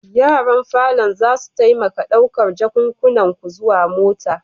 Yaran falon zasu taimaka ɗaukar jakunkunan ku zuwa mota.